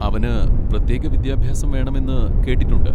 അവന് പ്രത്യേക വിദ്യാഭ്യാസം വേണമെന്ന് കേട്ടിട്ടുണ്ട്.